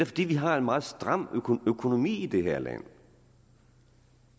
fordi vi har en meget stram økonomi i det her land